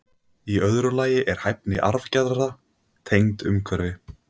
Í öðru lagi er hæfni arfgerða tengd umhverfi.